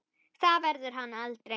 Það verður hann aldrei.